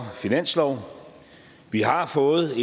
finanslov vi har fået